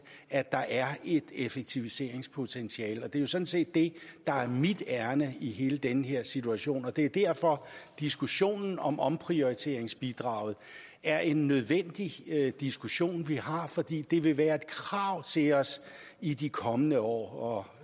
at der er et effektiviseringspotentiale det er sådan set det der er mit ærinde i hele den her situation det er derfor diskussionen om omprioriteringsbidraget er en nødvendig diskussion vi har fordi det vil være et krav til os i de kommende år